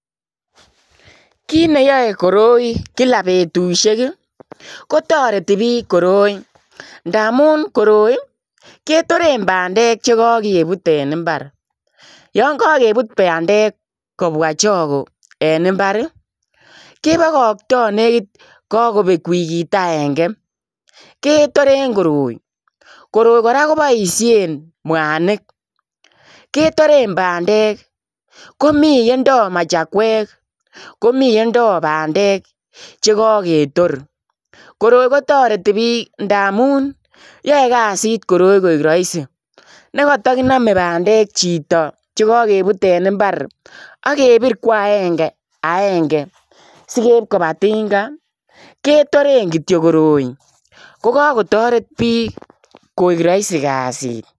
Kit ne yae koroi kila betusiek ii ko taretii biik koroi ndamuun koroi ii ketoreen pandeek che kakebuut en mbaar, yaan kagebuut pandeek kobwaa chagoo en mbar ii kebakatoi nekiit kabeek wikiit agenge ketoreen koroi koroi kora kobaisheen, mwanig ketoreen pandeek, komii yendoo machakweek komii ole ndogo pandeek chekaketoor koroi ko taretii biik ndamuun koroi koyae kazit yae koek Rahisi nekata kiname pandeek chitoo chekakebuut en mbar ak kebiir ko aenge aenge sikeib kobaa tinga ketoreen kityoi koroi ko Kako taret biik koek Rahisi kasiit.